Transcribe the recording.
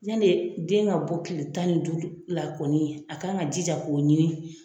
Yane de den ka bɔ kile tan ni duuru la kɔni a ka'an ka jija k'o ɲini.